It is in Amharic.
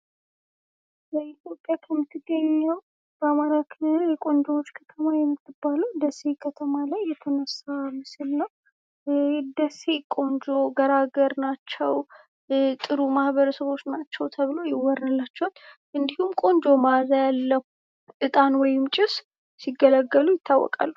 በኢትዮጵያ ከምትገኘው ከአማራ ክልል ቆንጆዎች ከተማ ከምትባለው ደሴ ከተማ ላይ የተነሳ ምስል ነው። ደሴ ቆንጆ ገራገር ናቸው። ጥሩ ማህበረሰብ ናቸው ተብለውም የወራላቸዋል እንዲጉም ቆንጆ መአዛ ያለው እጣን ወይም ጭስ ሲገለገሉ ዪታወቃሉ።